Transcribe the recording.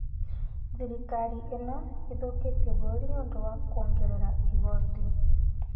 Thirikarĩ ĩno ĩthũkĩtie bũrũri nĩ ũndũ wa kũongerera igoti